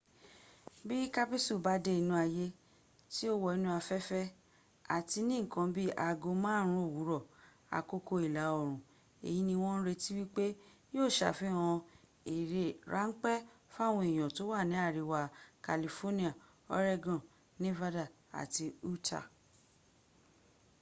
bí kápísù bá dé inú ayé tí ó wọ inú afẹ́fẹ́ àti ní ǹkan bi í aago márùn ún òwúrọ̀ àkókò ìlà òrùn èyí ni wọ́n ń retí wípé yíó sàfihàn eré ráńpẹ́ fáwọn èèyàn tó wà ní àríwá california oregon nevada àti utah